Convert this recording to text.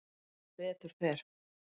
Sem betur fer.